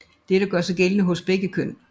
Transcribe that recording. Dette gør sig gældende hos begge køn